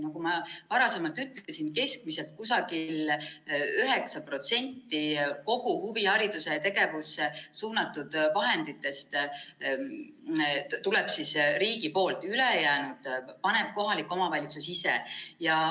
Nagu ma varasemalt ütlesin, keskmiselt kusagil 9% kogu huvihariduse tegevusse suunatud vahenditest tuleb riigi poolt, ülejäänu paneb kohalik omavalitsus ise.